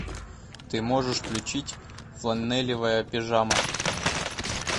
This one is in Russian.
ты можешь включить фланелевая пижама